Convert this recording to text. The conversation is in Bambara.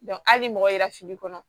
hali ni mɔgɔ yera fili kɔnɔ